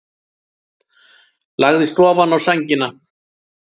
Lagðist ofaná sængina.